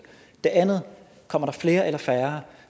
det andet er kommer der flere eller færre